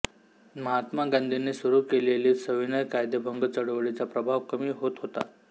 महात्मा गांधींनी सुरू केलेली सविनय कायदेभंग चळवळीचा प्रभाव कमी होत होता